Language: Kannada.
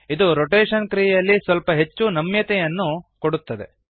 ಇದು ರೊಟೇಶನ್ ಕ್ರಿಯೆಯಲ್ಲಿ ಸ್ವಲ್ಪ ಹೆಚ್ಚು ನಮ್ಯತೆಯನ್ನು ಕೊಡುತ್ತದೆ